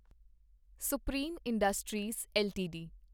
supreme Industries LTD